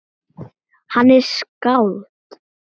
Hann er skáld.